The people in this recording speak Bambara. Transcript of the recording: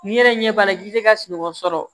N'i yɛrɛ ɲɛ b'a la k'i tɛ ka sunɔgɔ sɔrɔ